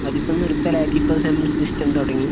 അതിപ്പോ നിർത്തലാക്കി same system തുടങ്ങി